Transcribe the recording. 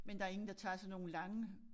Men der ingen der tager sådan nogle lange